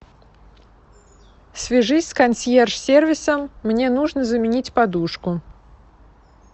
свяжись с консьерж сервисом мне нужно заменить подушку